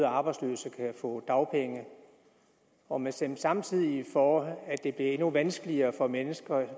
arbejdsløse kan få dagpenge og man stemte samtidig for at det blev endnu vanskeligere for mennesker